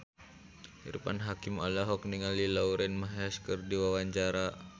Irfan Hakim olohok ningali Lauren Maher keur diwawancara